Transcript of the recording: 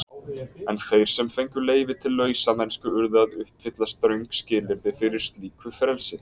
En þeir sem fengu leyfi til lausamennsku urðu að uppfylla ströng skilyrði fyrir slíku frelsi.